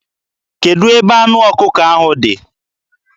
Kedụ ebe anụ ọkụkọ ahụ dị?